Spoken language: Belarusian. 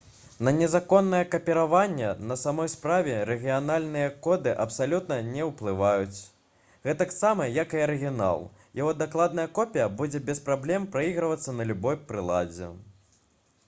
на незаконнае капіраванне на самой справе рэгіянальныя коды абсалютна не ўплываюць гэтаксама як і арыгінал яго дакладная копія будзе без праблем прайгравацца на любой прыладзе